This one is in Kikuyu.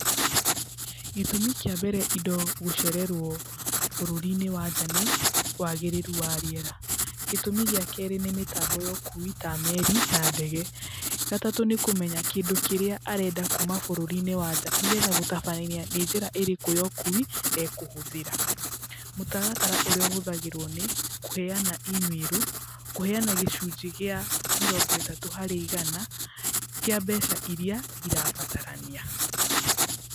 Gĩtũmi kĩa mbere indo gũcererwo bũrũri-inĩ wa nja nĩ wagĩrĩru wa rĩera. Gĩtũmi gĩa kerĩ nĩ mĩtambo ya ũkui ta meri na ndege. Gatatũ nĩ kũmenya kĩndũ kĩrĩa arenda kuma bũrũri-inĩ wa nja, nĩgetha gũtabarĩra nĩ njĩra ĩrĩkũ ya ũkuui ekũhũthĩra. Mũtartara ũrĩa ũhũthagĩrwo nĩ ,kũheana imĩrũ, kũheana gĩcunjĩ kĩa mĩrongo ĩtatũ harĩ igana kĩa mbeca iria irabatarania.